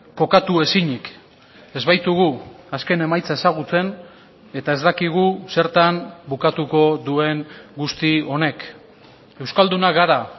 kokatu ezinik ez baitugu azken emaitza ezagutzen eta ez dakigu zertan bukatuko duen guzti honek euskaldunak gara